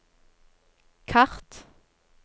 kart